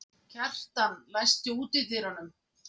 Kjartan, læstu útidyrunum.